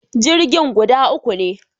Jirgin guda uku ne